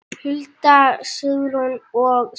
Hulda, Guðrún og Sigrún.